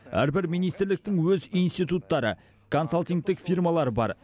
әрбір министрліктің өз институттары консалтингтік фирмалары бар